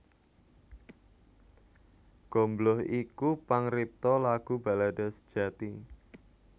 Gombloh iku pangripta lagu balada sejati